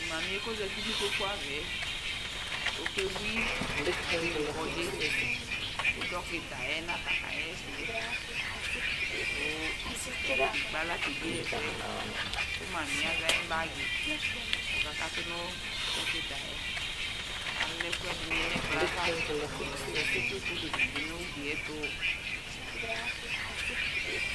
Mamiɛ kozati nikpokuavɛ, okebui, kabewui kɔdziKʋ dɔkita yɛ nafa kaɣɛsɛKʋ dɔkitɛ ekple aɣla kaɣɛsɛ Kʋ mamiɛ azɛ ayiʋ bagi , kɔkakatu Kʋ dɔkita yɛ, alɛ ɛkuɛdini nɛkplɔɛ'avaKatsitu foto dini bi nʋgliɛtu